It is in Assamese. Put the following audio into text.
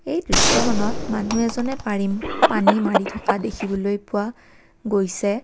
এই দৃশ্যখনত মানুহ এজনে পাৰিম পানী মাৰি থকা দেখাবলৈ পোৱা গৈছে।